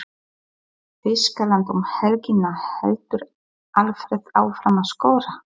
Þýskaland um helgina- Heldur Alfreð áfram að skora?